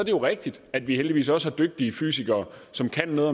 jo rigtigt at vi heldigvis også har dygtige fysikere som kan noget